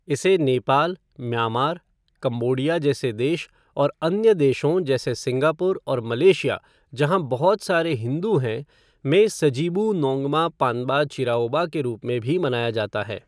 इसे Nepal, Myanmar, Cambodia जैसे देश और अन्य देशों जैसे सिंगापुर और मलेशिया जहाँ बहुत सारे हिंदू हैं, में सजिबू नोंगमा पानबा चिराओबा के रूप में भी मनाया जाता है।